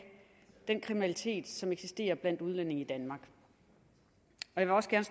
den kriminalitet som eksisterer blandt udlændinge i danmark jeg også gerne